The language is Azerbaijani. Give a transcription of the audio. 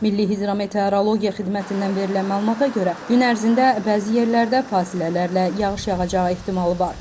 Milli hidrometeorologiya xidmətindən verilən məlumata görə, gün ərzində bəzi yerlərdə fasilələrlə yağış yağacağı ehtimalı var.